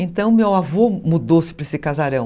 Então, meu avô mudou-se para esse casarão.